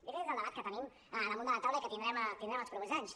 jo crec que aquest és el debat que tenim damunt de la taula i que tindrem els propers anys